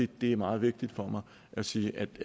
det er meget vigtigt for mig at sige at det